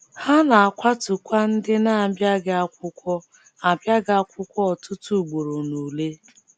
Ha na - akwatukwa ndị na - abịaghị akwụkwọ - abịaghị akwụkwọ ọtụtụ ugboro n’ule. ”